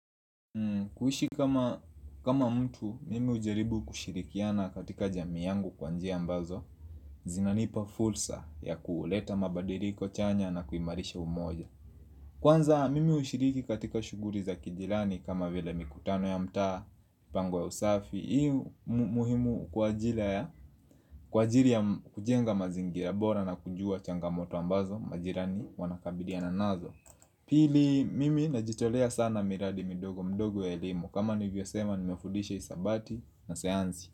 Kuishi kama mtu, mimi hujaribu kushirikiana katika jamii yangu kwa njia ambazo zinanipa fursa ya kuleta mabadiliko chanya na kuimarisha umoja Kwanza, mimi hushiriki katika shughuli za kijirani kama vile mikutano ya mtaa Pango ya usafi, ii muhimu kwa ajili ya kujenga mazingira bora na kujua changamoto ambazo majirani wanakabiliana nazo Pili mimi najitolea sana miradi midogo mdogo ya elimu kama nivyosema nimefudisha hisabati na sayansi.